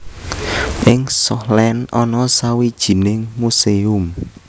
Ing Schokland ana sawijining muséum